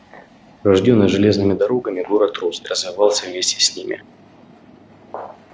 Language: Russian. рождённый железными дорогами город рос и развивался вместе с ними